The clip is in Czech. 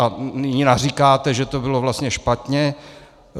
A nyní naříkáte, že to bylo vlastně špatně.